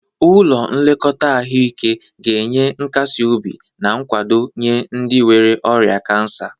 Ụlọ nlekọta ahụike ga-enye nkasi obi na nkwado nye ndị nwere ọrịa kansa.